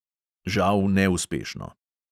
Žal neuspešno.